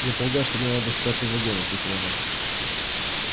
я полагаю что мне надо в пятый вагон ответила она